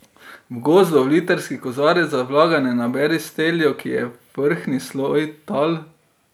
V gozdu v litrski kozarec za vlaganje naberi steljo, ki je vrhnji sloj tal.